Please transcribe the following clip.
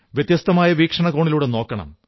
വ്യത്യസ്തമായ വീക്ഷണകോണിലൂടെ നോക്കണം